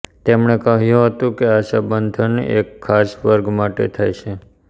તેમણે કહ્યું હતું કે આ સંબોધન એક ખાસ વર્ગ માટે થાય છે